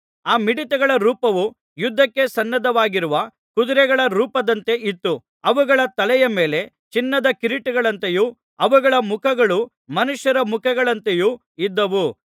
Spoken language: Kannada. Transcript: ಆ ಮಿಡತೆಗಳ ರೂಪವು ಯುದ್ಧಕ್ಕೆ ಸನ್ನದ್ಧವಾಗಿರುವ ಕುದುರೆಗಳ ರೂಪದಂತೆ ಇತ್ತು ಅವುಗಳ ತಲೆಯ ಮೇಲೆ ಚಿನ್ನದ ಕಿರೀಟಗಳಂತೆಯೂ ಅವುಗಳ ಮುಖಗಳು ಮನುಷ್ಯರ ಮುಖಗಳಂತೆಯೂ ಇದ್ದವು